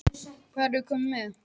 Hátt í þrjátíu þúsund undirskriftir